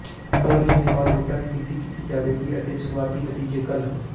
polling ਦੇ ਬਾਅਦ ਵੋਟਾਂ ਦੀ ਗਿਣਤੀ ਕੀਤੀ ਜਾਵੇਗੀ ਅਤੇ ਸ਼ੁਰੂਆਤੀ ਨਤੀਜੇ ਕੱਲ੍ਹ